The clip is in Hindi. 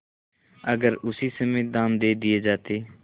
अगर उसी समय दाम दे दिये जाते